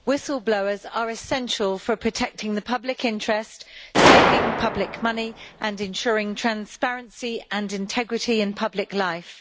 Mr President, whistle-blowers are essential for protecting the public interest, saving public money and ensuring transparency and integrity in public life.